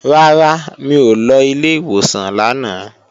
Rárá, mi ò lọ ilé ìwòsàn lánàá